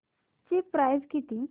ची प्राइस किती